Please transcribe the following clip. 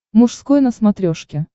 мужской на смотрешке